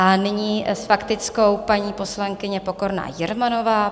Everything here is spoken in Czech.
A nyní s faktickou paní poslankyně Pokorná Jermanová.